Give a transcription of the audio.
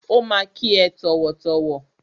Ó ma kí ẹ tọ̀wọ̀tọ̀wọ̀.